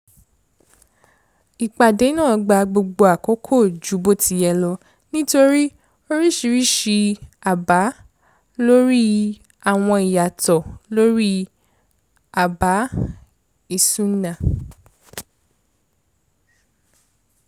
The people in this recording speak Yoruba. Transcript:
ìpàdé náà gbà gbogbo àkókò jù bó ti yẹ lọ nítorí oríṣiríṣi àbá lórí àwọn ìyàtọ̀ lori àbá isunna